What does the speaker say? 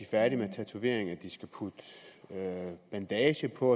færdige med en tatovering at de skal putte bandage på